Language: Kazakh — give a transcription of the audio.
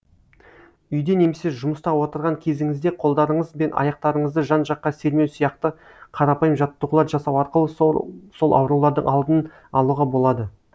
үйде немесе жұмыста отырған кезіңізде қолдарыңыз бен аяқтарыңызды жан жаққа сермеу сияқты қарапайым жаттығулар жасау арқылы сол аурулардың алдын алуға болады